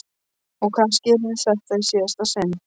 Og kannski yrði þetta í síðasta sinn.